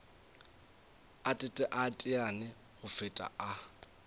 a teteane go feta a